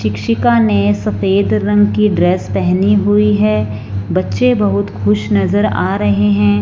शिक्षिका ने सफेद रंग की ड्रेस पहनी हुई है। बच्चे बहुत खुश नज़र आ रहे हैं।